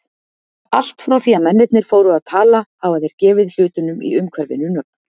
Allt frá því að mennirnir fóru að tala hafa þeir gefið hlutunum í umhverfinu nöfn.